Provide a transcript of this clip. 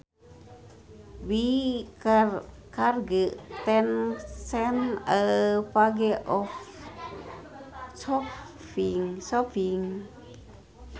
We charge ten cents a page for copying